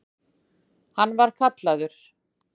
Hann var kallaður